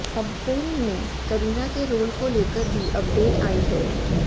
अब फिल्म में करीना के रोल को लेकर भी अपडेट आई है